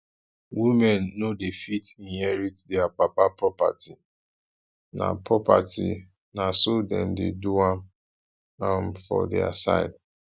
women no dey fit inherit dia papa property na property na so dem dey do am um for dia side